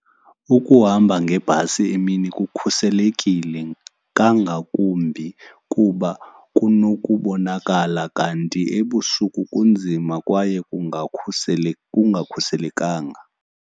Ukuhamba ngebhasi emini kukhuselekile kangakumbi kuba kunokubonakala, kanti ebusuku kunzima kwaye kungakhuselekanga.